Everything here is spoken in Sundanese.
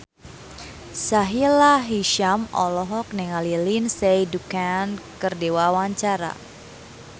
Sahila Hisyam olohok ningali Lindsay Ducan keur diwawancara